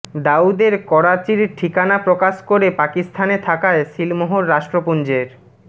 দাউদের করাচির ঠিকানা প্রকাশ করে পাকিস্তানে থাকায় সিলমোহর রাষ্ট্রপুঞ্জের